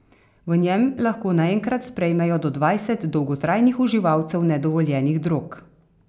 V njem lahko naenkrat sprejmejo do dvajset dolgotrajnih uživalcev nedovoljenih drog.